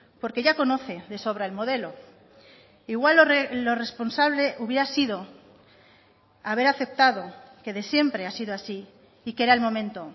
porque ya conoce de sobra el modelo igual lo responsable hubiera sido haber aceptado que de siempre ha sido así y que era el momento